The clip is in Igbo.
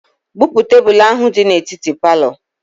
Bupu tebelu ahụ dị n'etiti palọ